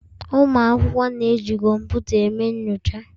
Ụmụ akwụkwọ na-eji kọmputa eme nyocha.